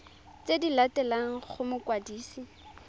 tse di latelang go mokwadisi